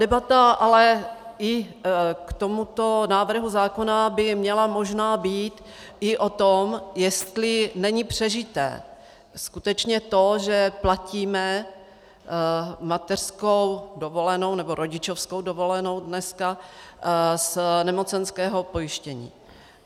Debata ale i k tomuto návrhu zákona by měla možná být i o tom, jestli není přežité skutečně to, že platíme mateřskou dovolenou nebo rodičovskou dovolenou dneska z nemocenského pojištění.